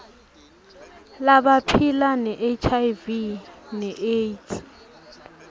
labaphila nehiv neaids